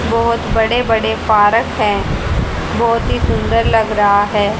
बहोत बड़े बड़े पार्क हैं बहोत ही सुंदर लग रहा है।